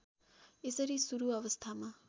यसरी सुरु अवस्थामा